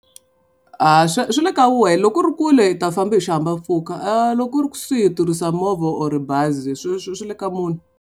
A swi swi le ka wena loko ku ri kule u ta famba hi xihahampfhuka loko ku ri kusuhi i tirhisa movha or bazi swi swi swi le ka munhu.